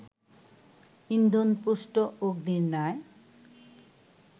ইন্ধনপুষ্ট অগ্নির ন্যায়